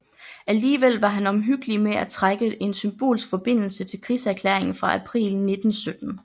Alligevel var han omhyggelig med at trække en symbolsk forbindelse til krigserklæringen fra april 1917